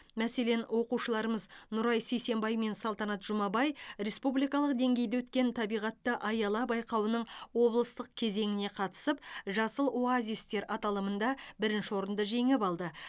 мәселен оқушыларымыз нұрай сисенбай мен салтанат жұмабай республикалық деңгейде өткен табиғатты аяла байқауының облыстық кезеңіне қатысып жасыл оазистер аталымында бірінші орынды жеңіп алды